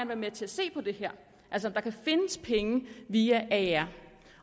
være med til at se på det her altså at der kan findes penge via aer